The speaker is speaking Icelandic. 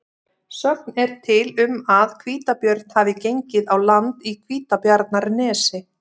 Sögn er til um að hvítabjörn hafi gengið á land í Hvítabjarnarnesi.